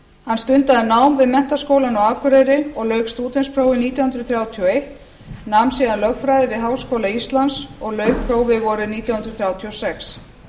hann stundaði nám við menntaskólann á akureyri og lauk stúdentsprófi nítján hundruð þrjátíu og eitt nam síðan lögfræði við háskóla íslands og lauk prófi vorið nítján hundruð þrjátíu og sex